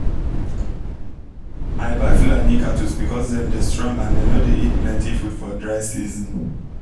i buy fulani cattle because dem dey strong and dem nor dey eat plenty food for dry season